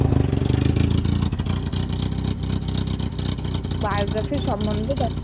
ও biography র সম্বন্ধে,